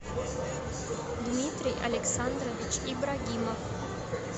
дмитрий александрович ибрагимов